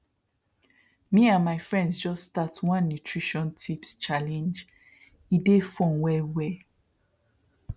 me and my friends just start one nutrition tips challengee dey fun well well